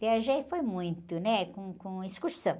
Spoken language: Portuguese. Viajei foi muito, né? Com, com excursão.